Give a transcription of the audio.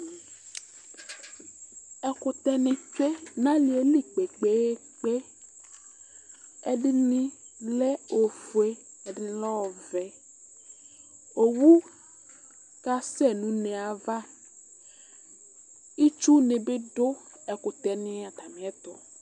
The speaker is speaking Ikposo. Ɛkʋtɛni tsee nʋ alili kpe kpe kpe ɛdini lɛ ofue ɛdini lɛ ɔvɛ owʋ kasɛ nʋ une yɛ ava itsʋne bi dʋ ɛkʋtɛ ni atali ɛtʋ